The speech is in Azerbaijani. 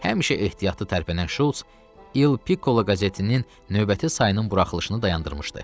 Həmişə ehtiyatlı tərpənən Şults İl Pikolo qəzetinin növbəti sayının buraxılışını dayandırmışdı.